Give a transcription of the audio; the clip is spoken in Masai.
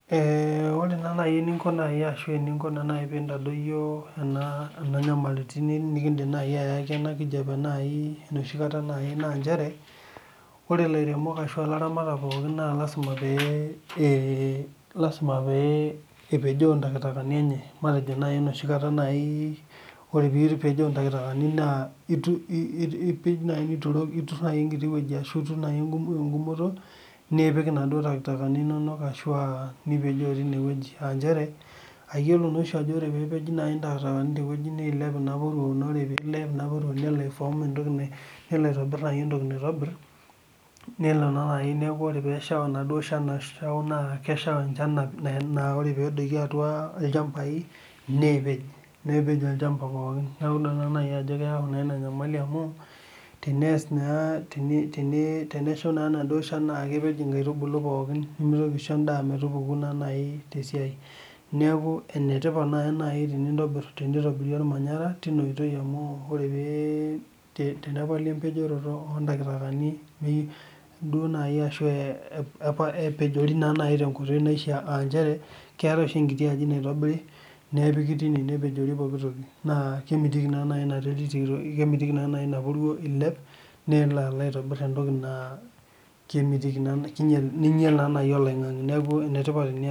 Ore naa nai eninko nai ahsu eninko nai peintadoiyo ena inyamaliritin nikindim nai ayiaki ena nkijape nai noshi kata nai naa inchere, ore ilairemok ashu ilaramatak pookin naa lasima pee ,lasima pee epejoo intakitakani enye, matejo nai noshi kata nai ,ore piipejoo intakitakani naa ipej nituroki nai enkiti wueji ashu iturr nai ngumoto nipik enaduo intakitakani inonok ashu aa nipejoo teineweji inchere aiyolo naashi ajo epeji naa intakitakani te wueji neilepe naa pooki, neilep naa nelo aifoom entoki, nelo aitobirr nai entoki naitobirr ,nelo nai neaku3ore peesha enaduo inshan nasha naa kesheita inshan ashu naa ore peedoli atua ilchambai neepej, nepej olchamba pookin, neaku naa idol nai ajo keyau naa inia inyamali amu teneas naa ,tenesha naa enaduo inshan naa kepej nkaitubulu pookin, nemeitoki aisho indaa metupuku naa nai te siai. Neaku enetipat naa nai tenintobir, teneitobiri olmanyara teina oitoi amu ore pee tenepali empejoroto ortakitakani duo nai ashu epejori nai te nkoitoi naishaa aa inchere keatae oshi enkiti aji naitobiri nepiki teine nepejori pooki toki naa kemitiki nai ina puro eiliep, nelo alo aitobir entoki naa kemitiki naa neinyal naa eloing'ang'e, naaku enetipat inia siai.